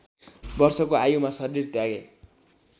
वर्षको आयुमा शरीर त्यागे